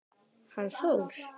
Hann Þór?